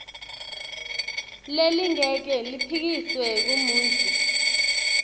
lelingeke liphikiswe ngumuntfu